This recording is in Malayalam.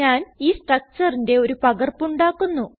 ഞാൻ ഈ structureന്റെ പകർപ്പ് ഉണ്ടാക്കുന്നു